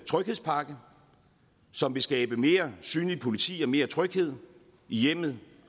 tryghedspakke som vil skabe mere synligt politi og mere tryghed i hjemmet